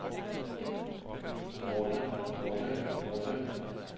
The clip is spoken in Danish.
runde runde runde